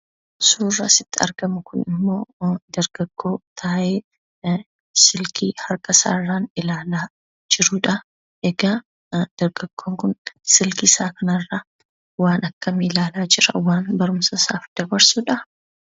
Suurri asitti argamu kunimmoo dargaggoo taa'ee silkii harkasaarraan ilaalaa jirudhaa. Egaa dargaggoon kun silkii isaa kanarraa waan akkamii ilaalaa jira? waan barumsa isaaf dabarsudhaa?